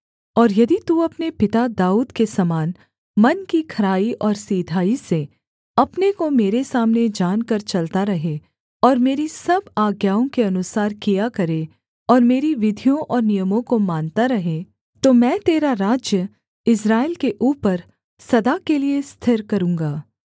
और यदि तू अपने पिता दाऊद के समान मन की खराई और सिधाई से अपने को मेरे सामने जानकर चलता रहे और मेरी सब आज्ञाओं के अनुसार किया करे और मेरी विधियों और नियमों को मानता रहे तो मैं तेरा राज्य इस्राएल के ऊपर सदा के लिये स्थिर करूँगा